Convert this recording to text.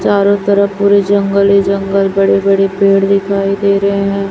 चारों तरफ पूरे जंगल ही जंगल बड़े बड़े पेड़ दिखाई दे रहे हैं।